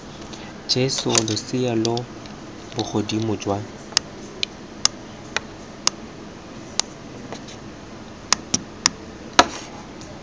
jesa losea lo bogodimo jwa